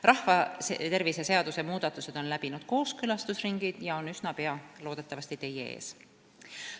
Rahvatervise seaduse muudatused on läbinud kooskõlastusringi ja on üsna pea loodetavasti teie ees.